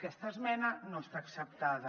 aquesta esmena no està acceptada